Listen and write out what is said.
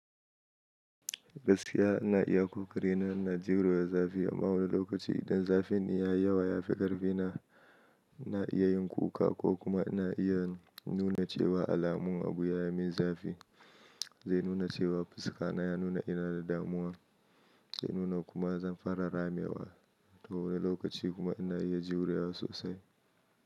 Gaskiya ina iya kokari na ina jurewa zafi. Amma wani lokaci idan zafin yayi yawa ya fi karfi na ina iya yin kuka ko kuma ina iya nuna cewa alamun abu ya min zafi. Zai nuna cewa fuska na ya nuna ina da damuwa. Zai nuna kuma zan fara ramewa. To wani lokaci kuma ina iya juriya sosai.